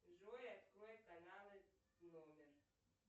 джой открой каналы номер